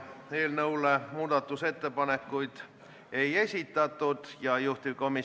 Sealt loen ma välja, et Oudekki Loone on korduvalt öelnud, et ta kavatseb jälgida ja järgida Eesti välispoliitilist kurssi.